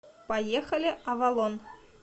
поехали авалон